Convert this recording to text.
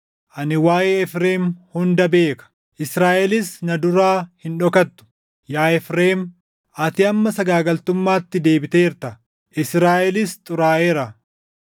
Ani waaʼee Efreem hunda beeka; Israaʼelis na duraa hin dhokattu. Yaa Efreem, ati amma sagaagaltummaatti deebiteerta; Israaʼelis xuraaʼeera.